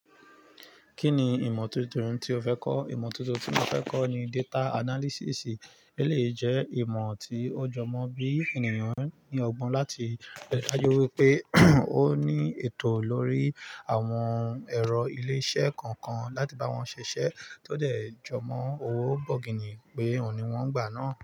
Kí ni ìmọ̀ tuntun tí o fẹ́ kọ́? Ìmọ̀ tuntun tí mo fẹ́ kọ́ ni data analysis. Ó lè jẹ́ ìmọ̀ tí ó jọmọ́ bí ènìyàn ní ọgbọ́n láti dáju wípé ó ní ètò lórí àwọn ẹ̀rọ ilé-iṣẹ́ kọ̀ọ̀kan láti bá wọn ṣiṣẹ́ tó dẹ̀ jọmọ́ owó bọ̀gìnì pé òun ni wọ́n gbà náà.